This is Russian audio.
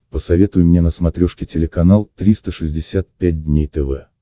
посоветуй мне на смотрешке телеканал триста шестьдесят пять дней тв